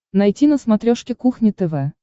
найти на смотрешке кухня тв